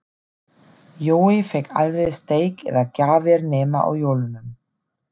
Jói fékk aldrei steik eða gjafir nema á jólunum.